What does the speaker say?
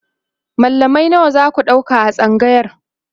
mallamai nawa zaku ɗauka a tsangayar?